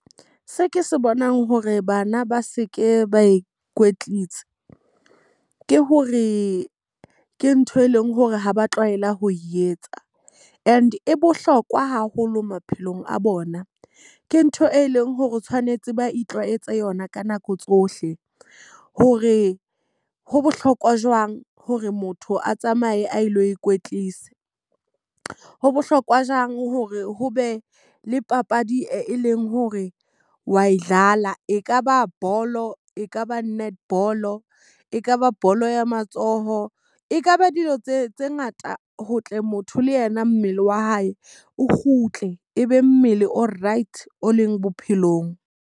Se ke se bonang hore bana ba se ke ba ikwetlisa, ke hore ke ntho e leng hore ha ba tlwaela ho etsa. And e bohlokwa haholo maphelong a bona. Ke ntho e leng hore tshwanetse ba itlwaetse yona ka nako tsohle. Hore ho bohlokwa jwang hore motho a tsamaye a lo ikwetlisa. Ho bohlokwa jwang hore ho be le papadi e leng hore wa e . E ka ba bolo, e ka ba netball, e ka ba bolo ya matsoho, e kaba dilo tse tse ngata ho tle motho le yena mmele wa hae o kgutle. E be mmele o right o leng bophelong.